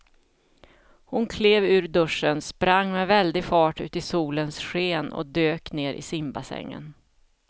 Hon klev ur duschen, sprang med väldig fart ut i solens sken och dök ner i simbassängen.